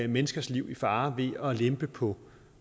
menneskers liv i fare ved at lempe på